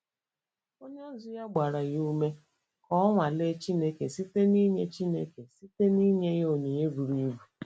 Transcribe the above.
Onye ozi ya gbara ya ume ka o nwalee Chineke site n’inye Chineke site n’inye onyinye buru ibu.